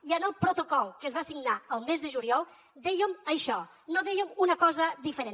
i en el protocol que es va signar el mes de juliol dèiem això no dèiem una cosa diferent